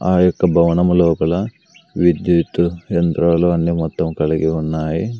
ఆ యొక్క భవనము లోపల విద్యుత్ యంత్రాలు అన్ని మొత్తం కలిగి ఉన్నాయి.